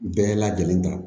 Bɛɛ lajɛlen kan